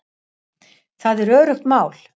Það er öruggt mál